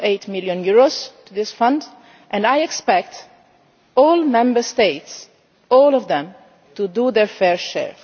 EUR 1.8 million to this fund and I expect the Member States all of them to do their fair share.